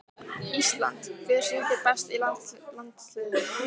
ÍSLAND Hver syngur best í landsliðinu?